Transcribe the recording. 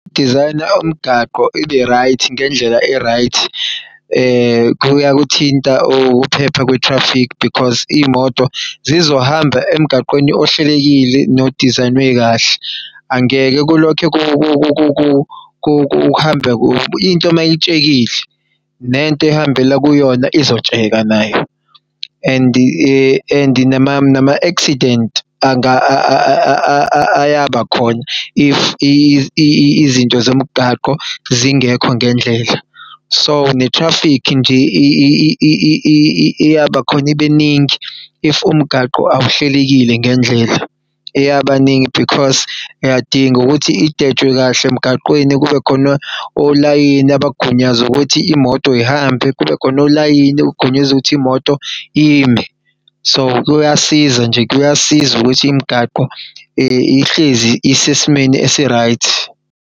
Design-a umgaqo ibe-right ngendlela e-right kuyakuthinta ukuphepha kwe-traffic because iy'moto zizohamba emgaqweni ohlelekile no-design-nwe kahle angeke kulokho kuhambe. Into mayitshekile nento ehambela yona izotsheka nayo and nama-accident ayaba khona if izinto zomgwaqo zingekho ngendlela so ne-traffic nje iyabakhona ibeningi if umgaqo awuhlelekile ngendlela, eyabaningi because uyadinga ukuthi idwetshwe kahle emgaqweni kubekhona olayini abagunyazw'ukuthi imoto yihambe. Kubekhona olayini abagunyazw' ukuthi imoto ime, so kuyasiza nje kuyasiza ukuthi imigaqo ihlezi isesimweni esi-right.